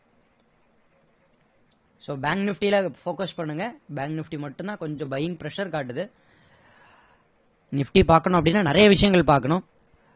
so bank nifty ல focus பண்ணுங்க bank nifty மட்டும் தான் கொஞ்சம் buying pressure காட்டுது nifty பாக்கணும் அப்படின்னா நிறைய விஷயங்கள் பாக்கணும்